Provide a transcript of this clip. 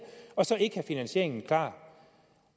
og så ikke have finansieringen klar